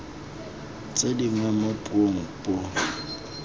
tse dingwe mo puong puo